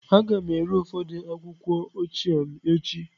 Aga m ere ụfọdụ akwụkwọ ochie m echi.